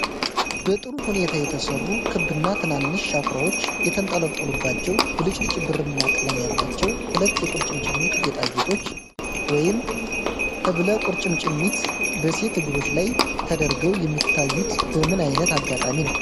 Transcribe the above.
በጥሩ ሁኔታ የተሰሩ፣ ክብና ትናንሽ ሻኩራዎች የተንጠለጠሉባቸው፣ ብልጭልጭ ብርማ ቀለም ያላቸው ሁለት የቁርጭምጭሚት ጌጣጌጦች (ሕብለቁርጭምጭሚት) በሴት እግሮች ላይ ተደርገው የሚታዩት በምን አይነት አጋጣሚ ነው?